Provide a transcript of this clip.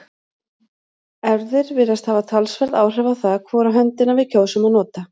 erfðir virðast hafa talsverð áhrif á það hvora höndina við kjósum að nota